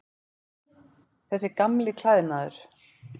Þessi gamli klæðnaður.